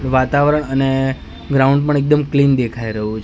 વાતાવરણ અને ગ્રાઉન્ડ પણ એકદમ ક્લીન દેખાઈ રહ્યુ--